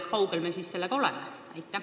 Kui kaugel me siis sellega oleme?